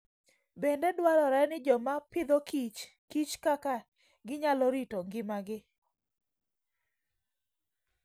Bende dwarore ni joma Agriculture and Food kich kaka ginyalo rito ngimagi.